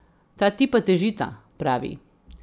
Ta tipa težita, pravi.